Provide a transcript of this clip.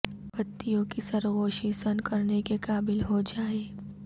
پتیوں کی سرگوشی سن کرنے کے قابل ہو جائے